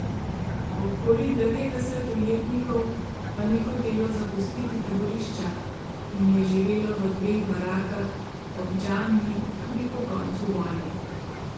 Okoli devetdeset ujetnikov pa ni hotelo zapustiti taborišča in je živelo v dveh barakah ob džamiji tudi po koncu vojne.